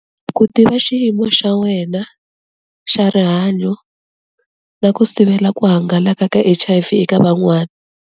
Ku tiva xiyimo xa wena xa rihanyo na ku sivela ku hangalaka ka H_I_V eka van'wani.